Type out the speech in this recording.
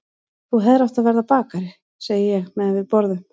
Þú hefðir átt að verða bakari, segi ég meðan við borðum.